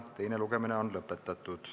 Teine lugemine on lõpetatud.